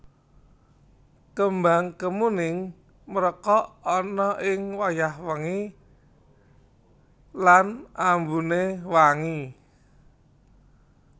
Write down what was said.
Kembang kemuning mrekok ana ing wayah wengi lan ambuné wangi